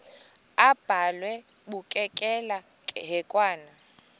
abhalwe bukekela hekwane